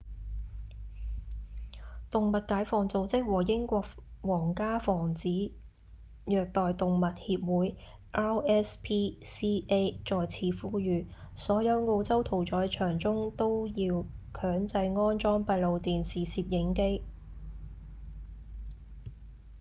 動物解放組織和英國皇家防止虐待動物協會 rspca 再次呼籲所有澳洲屠宰場中都要強制安裝閉路電視攝影機